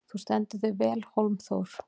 Þú stendur þig vel, Hólmþór!